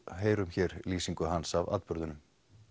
heyrum hér lýsingu hans af atburðinum